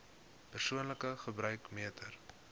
persoonlike gebruik meter